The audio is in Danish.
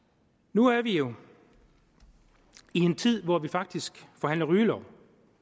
nu er vi jo i en tid hvor vi faktisk forhandler rygelov